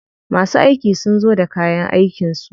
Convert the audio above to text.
Masu aiki sun zo da kayan aikin su.